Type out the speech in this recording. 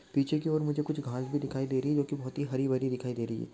पीछे की और मुझे कुछ घास भी दिखाई दे रही जो की बहुत ही हरी भरी दिखाई दे रही है।